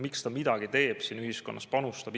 Miks ta midagi teeb, siin ühiskonnas panustab?